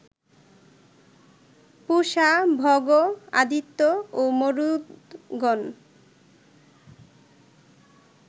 পূষা, ভগ, আদিত্য ও মরুদ্গণ